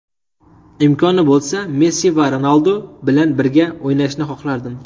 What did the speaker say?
Imkoni bo‘lsa, Messi va Ronaldu bilan birga o‘ynashni xohlardim.